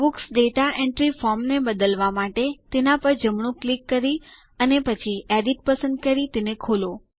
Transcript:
books દાતા entry form ને બદલવા માટે તેના પર જમણું ક્લિક કરી અને પછી એડિટ પસંદ કરી તેને ખોલો